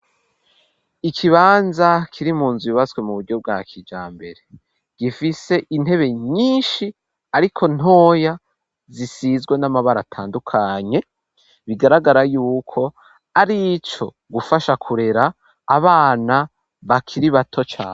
Ikibanza kiri munzu yubaswe mu buryo bwa kijambere gifise intebe nyinshi ariko ntoya zisizwe n'amabara atandukanye bigaragara yuko ari ico gufasha kurera abana bakiri bato cane.